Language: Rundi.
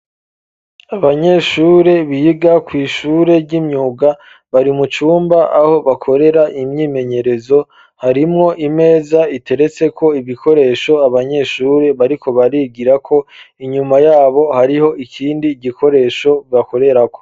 Abanyeshure biga kw'ishure ry'imyuga, bari mu cumba aho bakorera imyimenyerezo, harimwo imeza iteretseko ibikoresho abanyeshure bariko barigirako, inyuma yabo hariho ikindi gikoresho bakorerako.